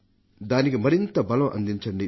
దానికి మరింత బలాన్ని అందించండి